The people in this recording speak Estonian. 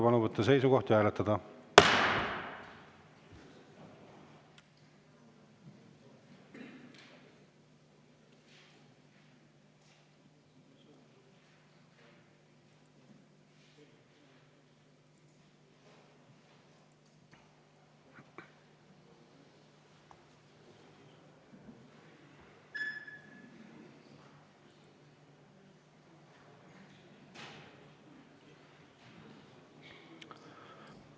Palun võtta seisukoht ja hääletada!